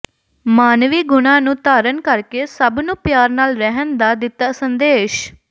ਮਾਨਵੀ ਗੁਣਾਂ ਨੂੰ ਧਾਰਨ ਕਰਕੇ ਸਭ ਨੂੰ ਪਿਆਰ ਨਾਲ ਰਹਿਣ ਦਾ ਦਿੱਤਾ ਸੰਦੇਸ਼